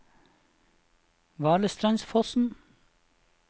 Valestrandsfossen